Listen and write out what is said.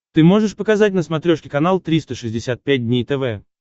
ты можешь показать на смотрешке канал триста шестьдесят пять дней тв